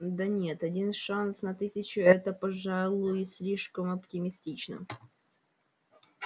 да нет один шанс на тысячу это пожалуй слишком оптимистично